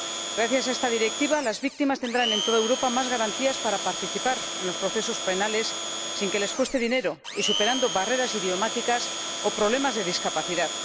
Gracias a esta Directiva, las víctimas tendrán en toda Europa más garantías para participar en los procesos penales sin que les cueste dinero, y superando barreras idiomáticas o problemas de discapacidad.